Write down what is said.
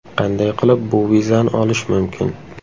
Qanday qilib bu vizani olish mumkin?